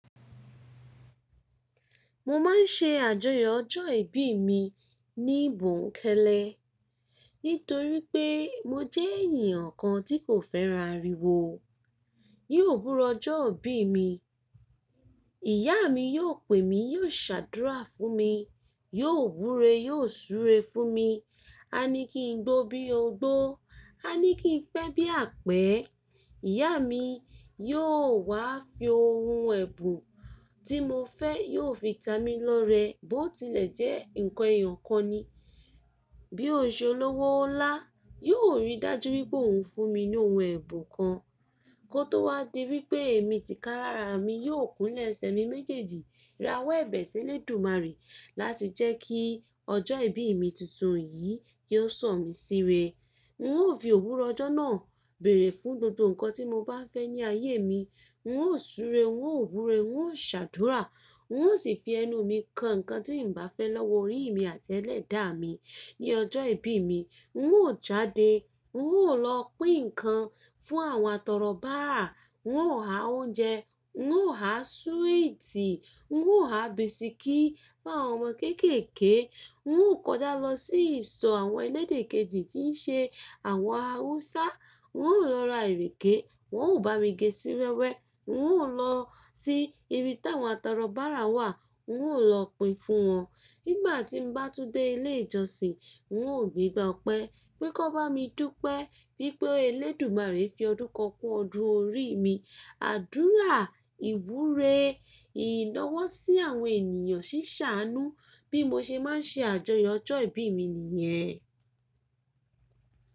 Mo máa ń ṣe àjọyọ̀ ọjọ́ ìbí mi níbùnkẹ́lẹ́. Nítorí pé mo jẹ́ ènìyàn kan tí kò fẹ́ra ariwo. Yóò búra ọjọ́ ìbí mi. Ìyá mi yóò pè mí, yóò ṣàdúrà fún mi, yóò wúre, yóò súre fún mi. A ní kí n gbó bí ogbó, a ní kí n pẹ́ bí apẹ́. Ìyá mi yóò wá fi ohun ẹ̀bùn tí mo fẹ́, yóò fi ta mi lọ rẹ, bó tilẹ̀ jẹ́ nǹkan èèyàn kan ni. Bí ó ṣe olówó ńlá, yóò rí dájú wípé òhun fún mi ní ohun ẹ̀bùn kan. Kó tó wá di wípé èmi ti ká lára mi, yóò kúnlẹ̀ ẹsẹ̀ mi méjèèjì, ra wọ́ ẹbẹ̀ sí eledùmaré láti jẹ́ kí ọjọ́ ìbí mi tuntun yìí kí ó sọ̀ mí síre. N óò fi òwúrọ̀ ọjọ́ náà bèrè fún gbogbo nǹkan tí mo bá fẹ́ ní ayé mi. N óò súre, n óò wúre, n óò ṣàdúrà, n óò sì fi ẹnu mi kan nǹkan tí n bá fẹ́ lọ́wọ́ orí mi àti ẹlẹ́dàá mi. Ni ọjọ́ ìbí mi, n óò jáde, n óò lọ pín nǹkan fún àwọn atọrọbárà, n óò há oúnjẹ, n óò há súwìtì, n óò há bisikí fún àwọn ọmọ kéékèèké, n óò kọjá lọ sí ìsọ̀ àwọn ẹlẹ́dẹ̀ kejì tí ń ṣe àwọn Haúsá. N óò lọ ra ìrèké, wọn óò bá mi gé sí wẹ́wẹ́. N óò lọ sí ibi táwọn atọrọbárà wà, n óò lọ pín fún wọn. Nígbà tí mo bá tún dé ilé ìjọsìn, n óò gbígbá ọpẹ́ wípé kí wọn bá mi dúpẹ́ wípé elédùmarè fi ọdún kan kú ọdún orí mi. Àdúrà, ìwúre, ìnáwó sí àwọn ènìyàn ṣí ṣàánú. Bí mo ṣe máa ń ṣe àjọyọ̀ ọjọ́ ìbí mi nìyẹn.